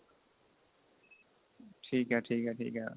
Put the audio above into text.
ਠੀਕ ਏ ਠੀਕ ਏ ਠੀਕ ਏ